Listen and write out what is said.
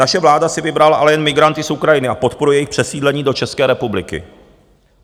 Naše vláda si vybrala ale jen migranty z Ukrajiny a podporuje jejich přesídlení do České republiky.